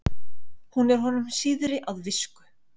hún er honum síðri að visku